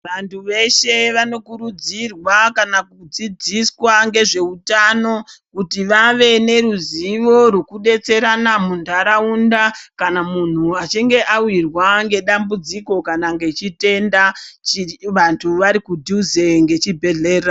Vantu veshe vanokurudzirwa kana kudzidziswa ngezveutano kuti vave neruzivo rwekudetserana mundaraunda kana muntu achinge awirwa nedambudziko kana nechitenda vantu vari kudhuze nechibhehlera.